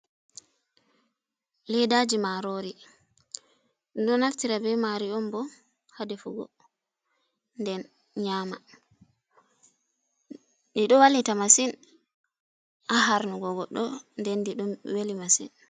Leddaji marori ɗum do naftira be mari on bo ha defugo nden nyama, ɗiɗo wallita massin a harnugo goɗɗo den ɗi ɗon welli massin.